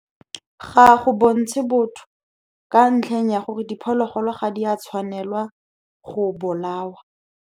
Ga go bontshe botho, ka ntlheng ya gore diphologolo ga di a tshwanelwa go bolawa.